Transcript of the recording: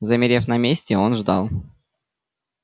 замерев на месте он ждал